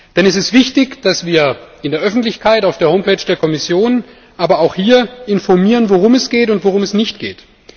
Denn es ist wichtig, dass wir in der Öffentlichkeit, auf der Homepage der Kommission, aber auch hier informieren, worum es geht und worum es nicht geht.